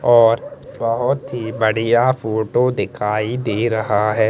और बहोत ही बढ़िया फोटो दिखाई दे रह हैं।